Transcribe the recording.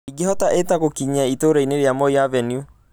ingĩhota Ĩta gũkinya itũũra rĩa moi avenue